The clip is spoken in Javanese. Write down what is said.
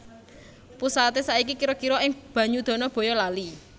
Pusaté saiki kira kira ing Banyudana Bayalali